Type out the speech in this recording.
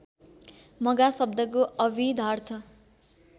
मघा शब्दको अभिधार्थ